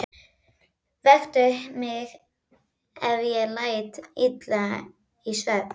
Vektu mig ef ég læt illa í svefni.